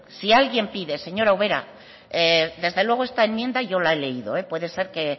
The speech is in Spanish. si alguien pide señora ubera desde luego esta enmienda yo la he leído puede ser que